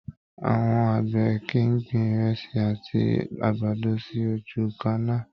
Àwọn àgbẹ̀ kìí gbin ìrẹsì àti àgbàdo sí ojú kannáà.